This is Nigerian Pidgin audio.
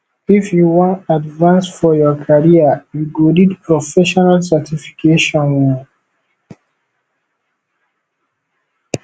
if you wan advance for your career you go need professional certification o